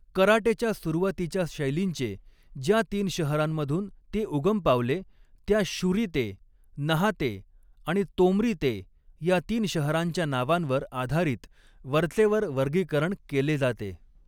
कराटेच्या सुरुवातीच्या शैलींचे, ज्या तीन शहरांमधून ते उगम पावले त्या शुरी ते, नहा ते आणि तोमरी ते ह्या तीन शहरांच्या नावांवर आधारीत वरचेवर वर्गीकरण केले जाते.